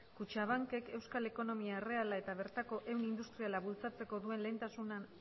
kutxabankek euskal ekonomia erreala eta bertako ehun industriala bultzatzeko duen